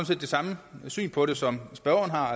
set det samme syn på det som spørgeren har